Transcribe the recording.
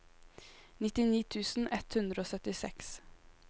nittini tusen ett hundre og syttiseks